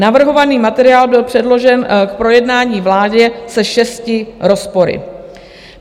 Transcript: Navrhovaný materiál byl předložen k projednání vládě se šesti rozpory.